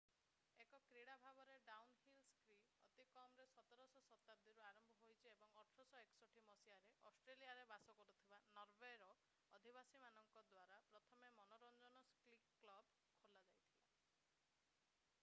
ଏକ କ୍ରୀଡ଼ା ଭାବରେ ଡାଉନହିଲ୍ ସ୍କି ଅତି କମରେ 17ଶ ଶତାବ୍ଦୀରୁ ଆରମ୍ଭ ହୋଇଛି ଏବଂ 1861 ମସିହାରେ ଅଷ୍ଟ୍ରେଲିଆରେ ବାସ କରୁଥିବା ନରୱେର ଅଧିବାସୀମାନଙ୍କ ଦ୍ଵାରା ପ୍ରଥମ ମନୋରଞ୍ଜନ ସ୍କି କ୍ଲବ୍ ଖୋଲାଯାଇଥିଲା